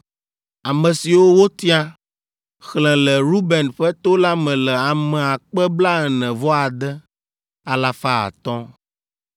Ame siwo wotia, xlẽ le Ruben ƒe to la me le ame akpe blaene-vɔ-ade, alafa atɔ̃ (46,500).